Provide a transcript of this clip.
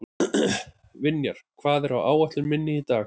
Vinjar, hvað er á áætluninni minni í dag?